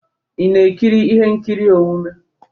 Ị na-ekiri ihe nkiri omume?